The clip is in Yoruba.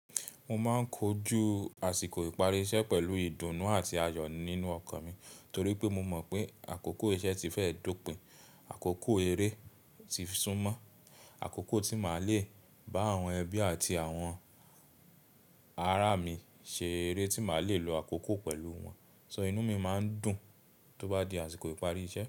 Mo máa ń kojú àsìkò ìparí iṣẹ́ pẹ̀lú ìdùnnú àti ayọ̀ nínú ọkàn mi torí pé mo mọ̀ pé àkókò iṣẹ́ ti fẹ́ dópin, àkókò eré ti súnmọ́, àkókò tí màá le bá àwọn ẹbí àti àwọn ará mi ṣe eré, tí màá le lo àkókò pẹ̀lú wọn. So inú mi máa ń dùn tó bá di àsìkò ìparí iṣẹ́ mi.